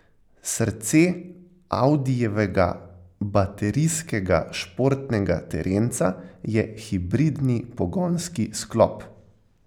Srce audijevega baterijskega športnega terenca je hibridni pogonski sklop.